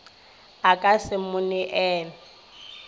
a ka se mo neele